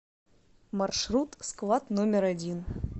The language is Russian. маршрут склад номер один